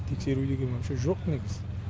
тексеру деген вапше жоқ негізі